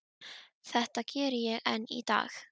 Þetta geri ég enn í dag.